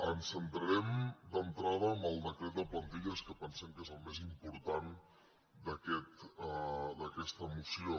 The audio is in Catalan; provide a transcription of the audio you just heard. ens centrarem d’entrada en el decret de plantilles que pensem que és el més important d’aquesta moció